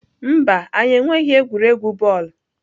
Mba, anyị enweghị egwuregwu bọọlụ.